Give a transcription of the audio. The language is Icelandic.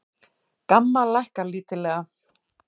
GAMMA lækkar lítillega